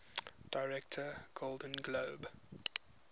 director golden globe